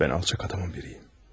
Mən alçaq adamın biriyəm.